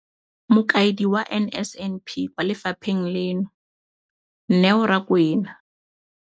Mokaedi wa NSNP kwa lefapheng leno, Neo Rakwena,